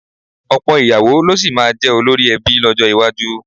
Ọ̀pọ̀ ìyàwó ló sì máa jẹ́ olórí ẹbí lọ́jọ́ iwájú.